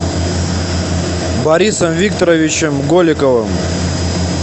борисом викторовичем голиковым